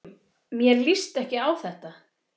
Mér líst ekki á þetta.